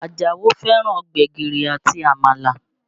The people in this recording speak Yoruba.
Àjàó fẹ́ràn gbẹ̀gìrì àti Àmàlà